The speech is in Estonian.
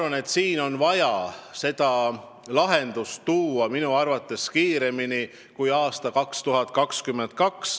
Ma ütlen ausalt, et see probleem on vaja lahendada kiiremini kui aastaks 2022.